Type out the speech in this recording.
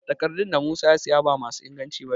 Takardun da Musa ya siya ba ma su inganci ba ne